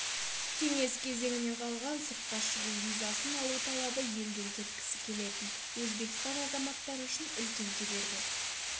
кеңес кезеңінен қалған сыртқа шығу визасын алу талабы елден кеткісі келетін өзбекстан азаматтары үшін үлкен кедергі